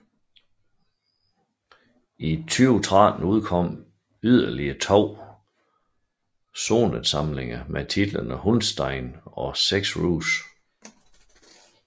I 2013 udkom yderligere to sonetsamlinger med titlerne Hundstein og Sex Rouge